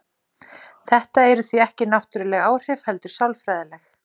Þetta eru því ekki náttúruleg áhrif heldur sálfræðileg.